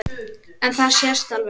En það sést alveg.